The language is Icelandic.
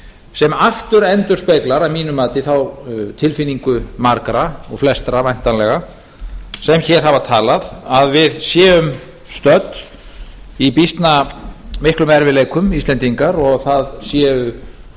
sem aftur endurspeglar að mínu mati þá tilfinningu margra og flestra væntanlega sem hér hafa talað að við séum stödd í býsna miklum erfiðleikum íslendingar og það séu